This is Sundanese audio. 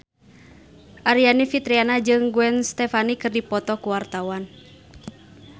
Aryani Fitriana jeung Gwen Stefani keur dipoto ku wartawan